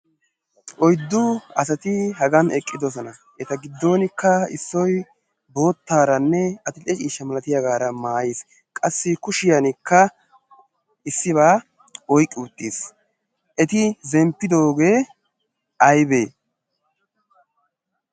Oyddu asati hagan eqqidosona. Eta giddonkka issoy boottaaranne adi'lle ciishsha malatiyaagaara maayiis. qassi kushiyankka issibaa oiqqi uttiis. eti zemppidoogee aybee?